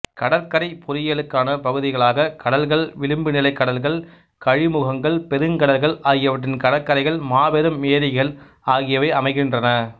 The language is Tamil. கடற்கரைப் பொறியியலுக்கான பகுதிகளாக கடல்கள் விளிம்புநிலைக் கடல்கள் கழிமுகங்கள் பெருங்கடல்கள் ஆகியவற்றின் கடற்கரைகள் மாபெரும் ஏரிகள் ஆகியவை அமைகின்றன